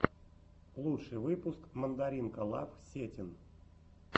лучший выпуск мандаринкалав сетин